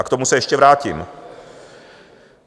A k tomu se ještě vrátím.